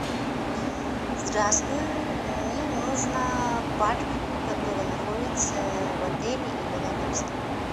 здравствуй мне нужно парк который находится в отеле или рядом с ним